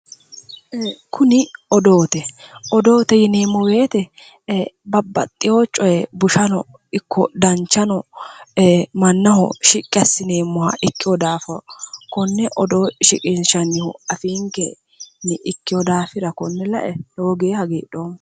Kuni odoote odoote yineemo woyite babbaxewo coye bushano ikko danichano mannaho shiqi assineemoha ikkewo daafo konne odoo shiqinishanniho afiinikey Ikkewo daafira lowo geya hagiidhoma